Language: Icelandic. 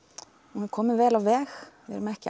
hún er komin vel á veg við erum ekki